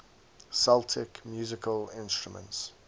celtic musical instruments